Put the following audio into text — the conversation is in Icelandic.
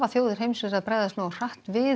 þjóðir heims að bregðast nógu hratt við